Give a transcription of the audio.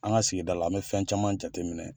An ka sigida la , an bɛ fɛn caman jate minɛ.